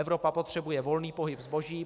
Evropa potřebuje volný pohyb zboží.